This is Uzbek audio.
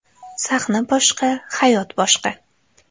Sahna boshqa, hayot boshqa.